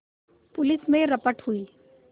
police में रपट हुई